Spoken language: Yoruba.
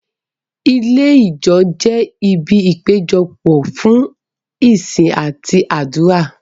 Ilé Ìjọ jẹ ibi ìpéjọpọ̀ fún ìsìn àti àdúrà.